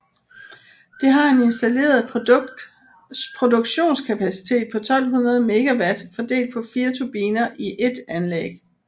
Det har en installeret produktionskapacitet på 1200 MW fordelt på 4 turbiner i ét anlæg